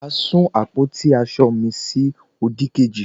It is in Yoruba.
tani a sun àpótí asọ mi sí odikeji